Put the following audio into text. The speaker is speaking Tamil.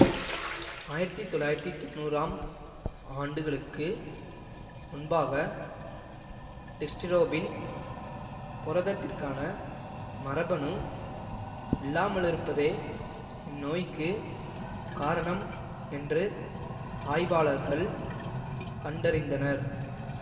ஆயிரத்தி தொள்ளாயிரத்தி தொன்னூறாம் ஆண்டுகளுக்கு முன்பாக டிஸ்டிரோபின் புரதத்திற்கான மரபணு இல்லாமலிருப்பதே இந்நோய்க்கு காரணம் என்று ஆய்வாளர்கள் கண்டறிந்தனர்